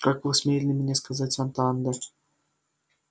как вы смели мне сказать атанде